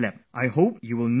I hope you will not do that